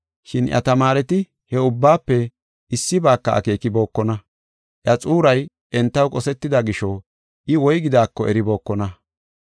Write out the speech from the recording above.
Shin iya tamaareti he ubbaafe issibaaka akeekibokona. Iya xuuray entaw qosetida gisho I woygidaako eribookona.